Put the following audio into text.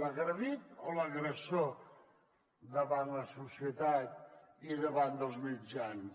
l’agredit o l’agressor davant de la societat i davant dels mitjans